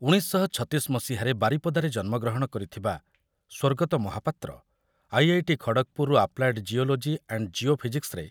ଉଣେଇଶ ଶହ ଛତିଶ ମସିହାରେ ବାରିପଦାରେ ଜନ୍ମଗ୍ରହଣ କରିଥିବା ସ୍ୱର୍ଗତ ମହାପାତ୍ର ଆଇ ଆଇ ଟି ଖଡ଼ଗ୍‌ପୁର୍‌ରୁ ଆପ୍ଲାଏଡ୍ ଜିଓଲୋଜି ଆଣ୍ଡ୍ ଜିଓ ଫିଜିକ୍ସରେ